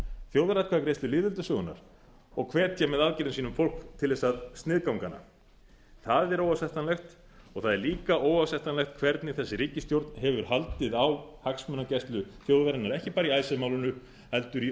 þjóðaratkvæðagreiðslu lýðveldissögunnar og hvetja með aðgerðum sínum fólk til þess að sniðganga hana það er óásættanlegt og það er líka óásættanlegt hvernig þessi ríkisstjórn hefur haldið á hagsmunagæslu þjóðarinnar ekki bara í icesave málinu heldur í